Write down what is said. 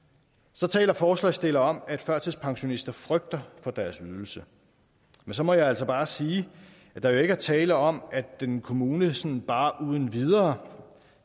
så taler forslagsstillerne om at førtidspensionister frygter for deres ydelse men så må jeg altså bare sige at der jo ikke er tale om at en kommune sådan bare uden videre